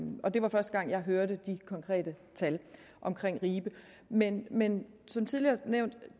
og det var første gang jeg hørte de konkrete tal om ribe men men som tidligere nævnt er